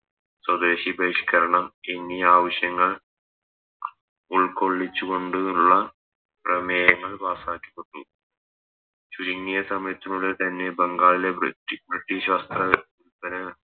സ്വദേശീയ ബഹിഷ്‌കരണം എന്നീ ആവശ്യങ്ങൾ ഉൾക്കൊള്ളിച്ച് കൊണ്ട് ഉള്ള പ്രമേയങ്ങൾ Pass ആക്കി തുടങ്ങി ചുരുങ്ങിയ സമയത്തിനുള്ളിൽ തന്നെ ബംഗാളിലെ ബ്രി ബ്രിട്ടീഷ് വസ്ത്ര